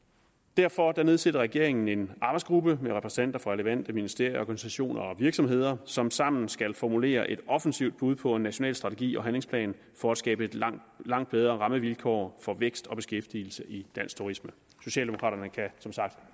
derfor nedsætter regeringen en arbejdsgruppe med repræsentanter fra relevante ministerier organisationer og virksomheder som sammen skal formulere et offensivt bud på en national strategi og handlingsplan for at skabe langt langt bedre rammevilkår for vækst og beskæftigelse i dansk turisme socialdemokraterne kan som sagt